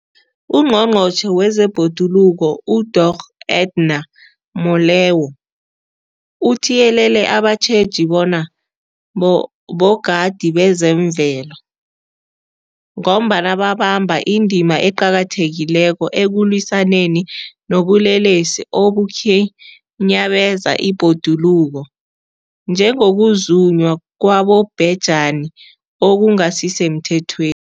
UNgqongqotjhe wezeBhoduluko uDorh Edna Molewa uthiyelele abatjheji bona bogadi bezemvelo, ngombana babamba indima eqakathekileko ekulwisaneni nobulelesi obukhinyabeza ibhoduluko, njengokuzunywa kwabobhejani okungasisemthethwen